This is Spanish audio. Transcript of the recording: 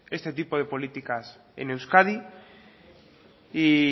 este tipo de políticas en euskadi y